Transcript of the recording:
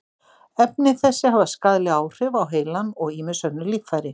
Efni þessi hafa skaðleg áhrif á heilann og ýmis önnur líffæri.